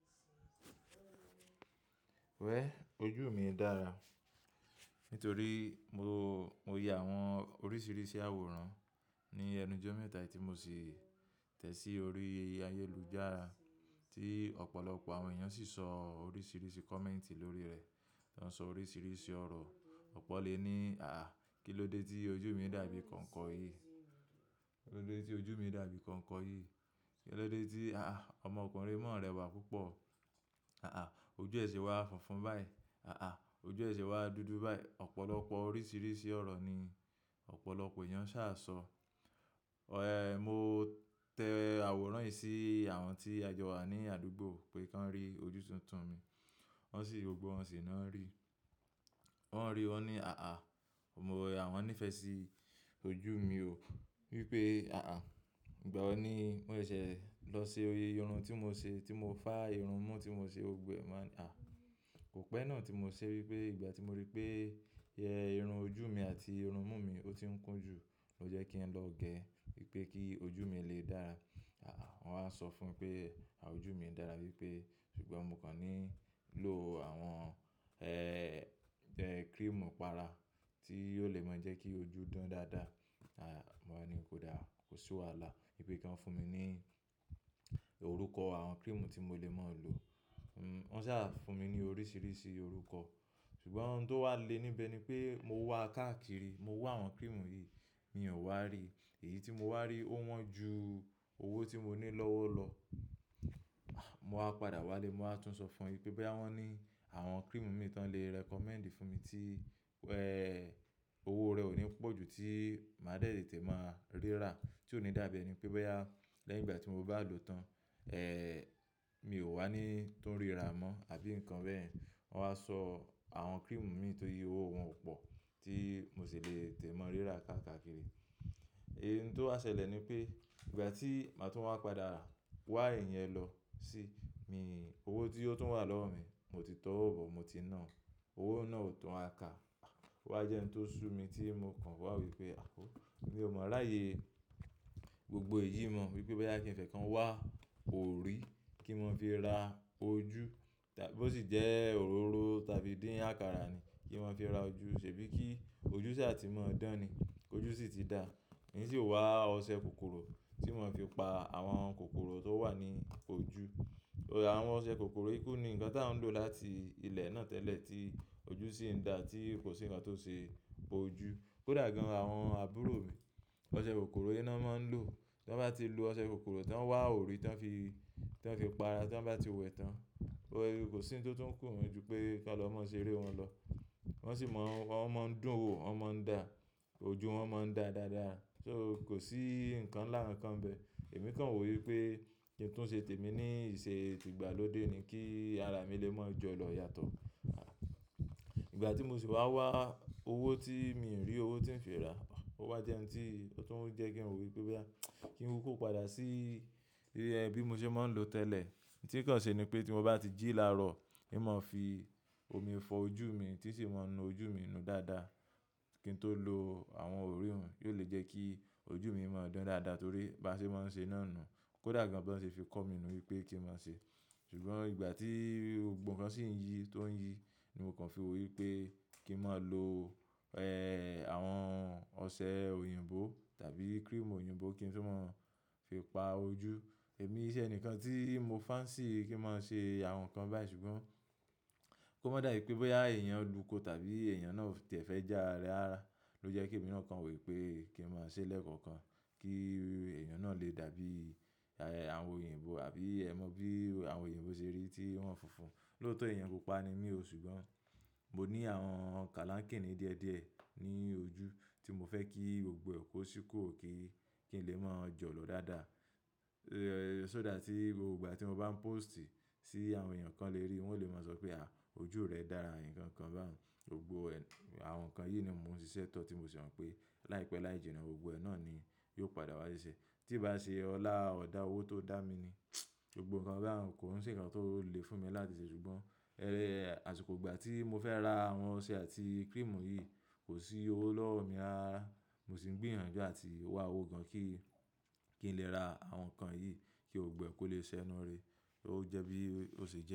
Wẹ̀, ojú mi dára nítorí mo, mo yẹ àwọn oríṣiríṣi àwòrán ní ẹnu jọ́mẹ́tà tí mo sì tẹ̀sí orí ayélujára tí ọ̀pọ̀lọpọ̀ àwọn èèyàn sì sọ oríṣiríṣi kọ̀mẹ́ǹtì lórí rẹ̀. Wọ́n ń sọ oríṣiríṣi ọ̀rọ̀. Ọ̀pọ̀ lè ní, "àáà, kí ló dé tí ojú mi dàbí konko yìí? Kí ló dé tí ojú mi dàbí konko yìí? Kí ló dé tí-- àáà, ọmọkùnrin mọ̀rẹ́wà púpọ̀. Àáà, ojú ẹṣẹ wa funfun báyìí. Àáà, ojú ẹṣẹ wa dúdú báyìí." Ọ̀pọ̀lọpọ̀ oríṣiríṣi ọ̀rọ̀ ni ọ̀pọ̀lọpọ̀ èèyàn ṣà sọ. Ẹ̀, mo tẹ àwòrán yìí sí àwọn tí a jọ wà ní àdúgbò pé kí wọ́n rí ojú tuntun mi. Wọ́n sì, gbogbo wọn sì náà ń rí. Wọ́n ń rí, wọ́n ní, "àáà, àwọn ò mọ, àwọn nífẹ̀ẹ́ sí ojú mi o." Wípé, "àáà, ìgbà wo ni ó ṣẹ̀se lọ ṣe oyè irun tí mo ṣe, tí mo fá irun mú tí mo ṣe gbogbo mo wani à." Kò pẹ́ náà tí mo ṣe wípé ìgbà tí mo rí pé ẹ́ irun ojú mi àti irun mú mi ó ti ń kún jù, ó jẹ́ kí ń lọ gé wípé kí ojú mi lè dára. Àáà, wọ́n á sọ fún pé, à ojú mi ń dára wípé, ṣùgbọ́n mo kàn ní ń lo àwọn, ẹ́ẹ́, ẹ́ cream ipára tí ó lè mọ jẹ́ kí ojú dán dáadáa. Mo wá ni oda, kò sí wàhálà. Wípé kọ́n fún mi ní orúkọ àwọn cream tí mo lè máa lò. Hmm, wọ́n sá fún mi ní oríṣiríṣi orúkọ. Ṣùgbọ́n ohun tó wà le níbẹ̀ ni pé mo wá káàkiri, mo wá àwọn cream yìí, mi ò wá rí. Èyí tí mo wá rí ó wọ́n ju owó tí mo ní lọ́wọ́ lọ. Mo wá padà wá lé, mo á tún sọ fún won wipé boyá wọ́n ní àwọn cream mìí ton le recommend fún mi tí, ẹ́ẹ́, owó rẹ̀ ò ní pọ̀ ju tí màá de tetè máa ríra, tí ò ní dàbí ẹni pé boyá lẹ́yìn ìgbà tí mo bá lò ó tán, ẹ́ẹ́, mi ò wá ní tó ń ríra mọ́ àbí nǹkan bẹ́ẹ̀. Wọ́n wá sọ àwọn cream mìíràn ti owó wọn o pọ̀ tí mo sì le tetẹ̀ mọ́ ríra káàkiri. Ẹ̀, hin tó á ṣẹlẹ̀ ni pé ìgbà tí màá tún wá padà wá iyẹn lọ sí mi, owó tí ó tún wà lọ́wọ́ mi, mo ti tọ́wò bọ̀, mo ti nà án. Owó náà ò tún wa kà. Wá jẹ́ ń tó sú mi tí mo kàn wá wo wípé, à wó, mi ò mọ̀ ráyé gbogbo èyí mọ̀. Wípé boyá kí n fẹ́ kan wá òòrì kí mọ n fi ra ojú. Tàbí bo si jẹ́ òróró tàbí dín àkàrà ni kí mọ́ n fi ra ojú. Ṣèbí kí ojú ṣà tí mọ́ dán ni, ojú ṣì ti dá. Hin sì wá ọṣẹ kòkòrò tí n mọ́ n fi pa àwọn kòkòrò tó wà ní ojú. Ọṣẹ kòkòrò yìí kù ni nǹkan tá ń lò láti ilẹ̀ náà tẹ́lẹ̀ tí ojú sì ń da tí kò sí nǹkan tó ń ṣe ojú. Kódà gan àwọn àbúrò mi, ọṣẹ kòkòrò yìí náà máa ń lò. Tọ́n bá ti lo ọṣẹ kòkòrò, tọ́n wá òòrì tọ́n fi, tọ́n fi pa ara tíọ́n bá ti wẹ̀ tán, o kò sí ohun tó tún kù won ju pé kán lọ má ṣe eré wọn lọ. Wọ́n sì mọ̀, wọ́n máa ń dùn wo, wọ́n máa ń dà. Ojú wọn máa ń dà dáadáa. So kò sí nǹkan láà kankan bẹ́ẹ̀. Èmi kàn wò wípé ki n tu ṣe tèmi ní ìṣe ti ìgbàlódé ni kí ara mi lè máa jọ̀lọ̀ yàtọ̀. Àhà, ìgbà tí mo sì wá wá owó tí mi rí owó tí ń fi ra, ọ́ wá jẹ́ ohun tí ó tún ń jẹ́ kí n wò wípé wá kí n kú padà sí bí mo ṣe máa ń lò tẹ́lẹ̀. N tí kàn ṣe ni pé tí mo bá ti jí láàárọ̀, n máa fi omi fọ ojú mi tí n sì máa nu ojú mi nu dáadáa. Kí n tó lo àwọn òrì hùn, yóò lè jẹ́ kí ojú mi máa dán dáadáa torí bá ṣe máa ń ṣe iná nù. Kódà gan bí wọ́n ṣe fi kọ́ mi nu wípé kí n máa ṣe. Ṣùgbọ́n ìgbà tí gbogbo nkan sì ń yí, tó ń yí ni mo kàn fi wò wípé kí n máa lo, ẹ́ẹ́, àwọn ọṣẹ òyìnbó tàbí cream òyìnbó kí n fì máa fi pa ojú. Èmi iṣẹ́ ẹni kan tí mo fancy kí n máa ṣe àwọn nǹkan báyìí ṣùgbọ́n kó má dà ì pé boyá èèyàn lùúko tàbí èèyàn náà o tì ẹ́ fẹ́ já ara ló jẹ́ kí èmi náà kàn wò wípé kí n máa ṣe lẹ́ẹ̀kọ̀kan, kí èèyàn náà lè dàbí, à ẹ́, àwọn òyìnbó àbí ẹ́ mọ bí àwọn òyìnbó ṣe rí tí wọ́n funfun. Lóòótọ́ èèyàn pupa ni mí o ṣùgbọ́n mo ní àwọn kálákínì díẹ̀díẹ̀ ní ojú tí mo fẹ́ kí gbogbo ẹ̀ kò sì kù kí, kí n lè máa jọ̀lọ̀ dáadáa. Ẹ̀ẹ́, só dà tí gbogbo ìgbà tí mo bá ń póòstì sí àwọn èèyàn kan lè ríi, wọ́n lè máa sọ pé, "à, ojú rẹ dára" nǹkan kan báhun. Gbogbo àwọn nǹkan yìí na mò ń ṣi sẹ́tọ̀ tí mo sì mọ̀ pé láìpẹ́ láìjìnà gbogbo ẹ̀ náà ni yóò padà wá ṣeṣẹ́. Tí ì bá ṣe ọlá ọ̀dà owó tó dá mi ni gbogbo nǹkan bá nǹkan kò sì nǹkan tó le fún mi láti ṣe ṣùgbọ́n ẹ́ẹ́, àsìkò ìgbà tí mo fẹ́ ra àwọn ọṣẹ àti cream yìí kò sí owó lọ́wọ́ mi rárá rara. Mo sì ń gbìyànjú àti wá owó gan kí, kí n lè ra àwọn nǹkan yìí kí gbogbo ẹ̀ kó lè ṣe nu re. Ó jẹ́ bí ó ṣe jẹ.